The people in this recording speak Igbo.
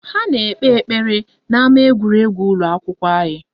Ha na-ekpe ekpere n'ama egwuregwu ụlọakwụkwọ anyị